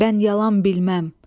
Mən yalan bilməm.